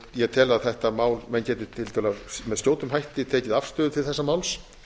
ég tel að þetta mál menn geti tiltölulega með skjótum hætti tekið afstöðu til þessa máls